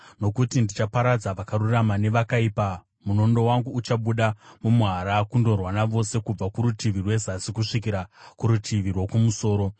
Nokuti ndichaparadza vakarurama nevakaipa, munondo wangu uchabuda mumuhara kundorwa navose kubva kurutivi rwezasi kusvikira kurutivi rwokumusoro.